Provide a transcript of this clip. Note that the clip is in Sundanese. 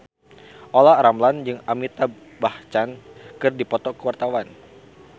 Olla Ramlan jeung Amitabh Bachchan keur dipoto ku wartawan